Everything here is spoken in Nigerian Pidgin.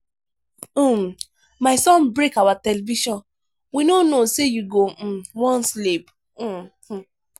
um my son break our television we no know say you go um wan sleep. um